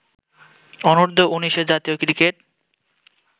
অনূর্ধ্ব-১৯ ও জাতীয় ক্রিকেট